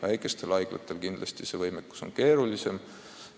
Väikestel haiglatel on see võimekus kindlasti väiksem.